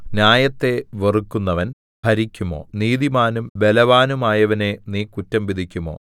ന്യായത്തെ വെറുക്കുന്നവൻ ഭരിക്കുമോ നീതിമാനും ബലവാനുമായവനെ നീ കുറ്റം വിധിക്കുമോ